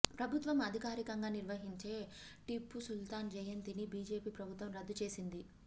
ప్రభుత్వం అధికారికంగా నిర్వహించే టిప్పు సుల్తాన్ జయంతిని బీజేపీ ప్రభుత్వం రద్దు చేసింది